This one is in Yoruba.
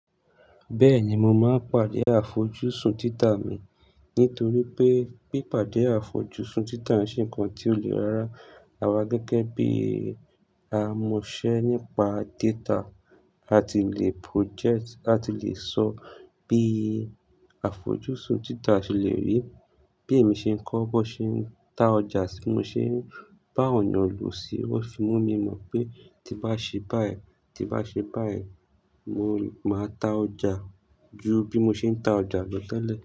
Bẹ́ẹ̀ni, mo máa pàdé àfojúsùn títa mi, nítorí pé, pé pàdé àfojúsùn títa ṣe nǹkan tí ó lè rárá awa gẹ́gẹ́ bí a mo ṣe nípa data. A ti le project, a ti le sọ bí àfojúsùn títa ṣe lè rí. Bí èmi ṣe ń kọ́, bó ṣe ń ta ọjà tí mo ṣe ń bá ọ̀yàn lo sí, ó fi mú mi mọ̀ pé tí bá ṣe báyìí, tí bá ṣe báyìí, mo máa ta ọjà ju bí mo ṣe ń ta ọjà lọ tẹ́lẹ̀.